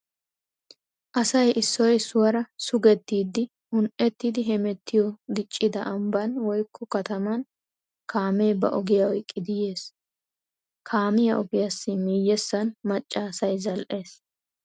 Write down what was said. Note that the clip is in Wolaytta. Asay issoy issuwara sugettiiddi un"ettidi hemettiyo diccida ambban woykko kataman kaamee ba ogiya oyqqidi yees. Kaamiya ogiyassi miyyessan macca asay zal"ees.